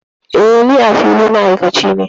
Eh, Ni, a fili, ni ma'aikaci ne.